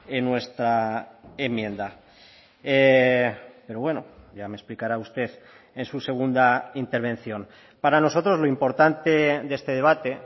en nuestra enmienda pero bueno ya me explicará usted en su segunda intervención para nosotros lo importante de este debate